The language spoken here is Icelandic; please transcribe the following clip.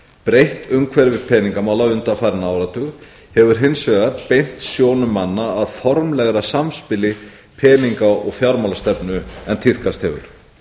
breytt umhverfi peningamála undanfarinn áratug hefur hins vegar beint sjónum manna að formlegra samspili peninga og fjármálastefnunnar en tíðkast hefur